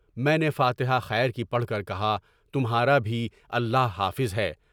میں نے فاتحۂ خیر کی پڑھ کر کہا، تمہارا بھی اللہ حافظ ہے۔